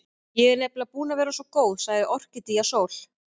Ég er nefnilega búin að vera svo góð, sagði Orkídea Sól.